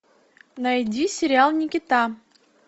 найди сериал никита